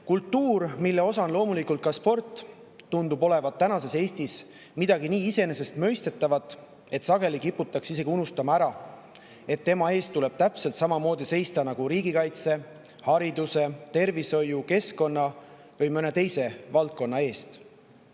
" Kultuur, mille osa on loomulikult ka sport, tundub tänases Eestis olevat midagi nii iseenesestmõistetavat, et sageli kiputakse isegi ära unustama, et tema eest tuleb täpselt samamoodi seista nagu riigikaitse, hariduse, tervishoiu, keskkonna või mõne teise valdkonna eest.